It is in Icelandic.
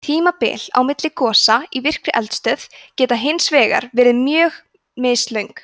tímabil á milli gosa í virkri eldstöð geta hins vegar verið mjög mislöng